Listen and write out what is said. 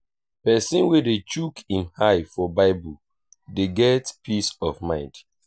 pesin wey dey chook im eye for bible dey get peace of mind.